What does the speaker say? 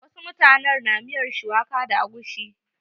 Wasu mutanen na miyar shuwaka da agushi.